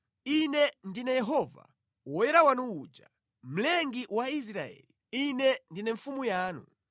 Ine ndine Yehova, Woyera wanu uja, Mlengi wa Israeli. Ine ndine Mfumu yanu.”